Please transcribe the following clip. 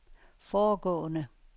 foregående